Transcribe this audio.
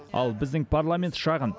ал біздің парламент шағын